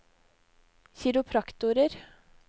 kiropraktorer